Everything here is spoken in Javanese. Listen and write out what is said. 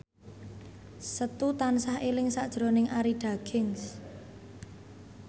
Setu tansah eling sakjroning Arie Daginks